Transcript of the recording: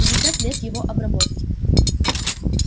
пятьдесят лет его обработки